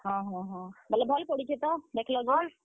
ହଁ, ବେଲେ ଭଲ ପଡୁଛେ ତ?